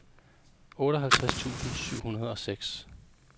otteoghalvtreds tusind syv hundrede og seks